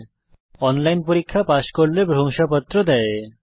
যারা অনলাইন পরীক্ষা পাস করে তাদের প্রশংসাপত্র দেয়